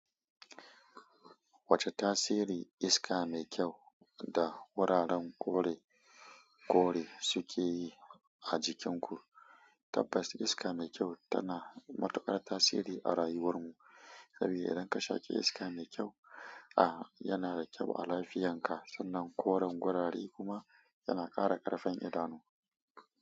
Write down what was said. Wace tasiri iska mai kyau da wuraren kore suke yi a jikin ku? Tabbas iska mai kyau tana matuƙar tasiri a rayuwar mu. Saboda idan ka shaƙe iska mai kyau a, yana da kyau a lafiyan ka, sannan koren wurare kuma yana ƙara ƙarfin idanu.